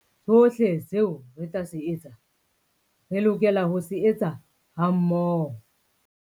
Sohle seo re tla se etsa, re lokela ho se etsa hammoho.